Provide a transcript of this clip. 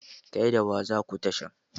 Kai da wa zaku tashan?